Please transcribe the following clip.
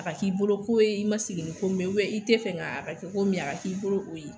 A k'i bolo ko ye i ma sigi ni ko min ye i tɛ fɛ nga a kɛ ko min ye a k'i bolo o ye